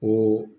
Ko